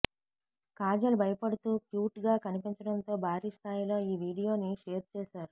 కాజల్ భయపడుతూ క్యూట్ గా కనిపించడంతో భారీ స్థాయిలో ఈ వీడియోని షేర్ చేశారు